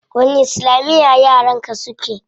Wani islamiya yaran ka suke?